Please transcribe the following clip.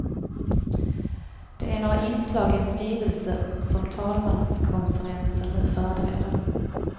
Det är några inslag i en skrivelse som talmanskonferensen nu förbereder.